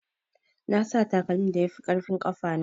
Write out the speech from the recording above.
Nasa takalmin da yafi ƙarfin ƙafana.